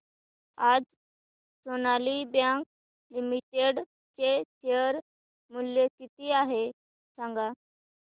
आज Sonali bank limited चे share मूल्य किती आहे सांगा